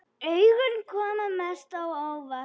Augun komu mest á óvart.